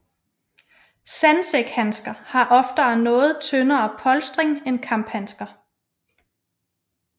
Sandsækhandsker har oftere noget tyndere polstring end kamphandsker